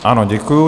Ano, děkuji.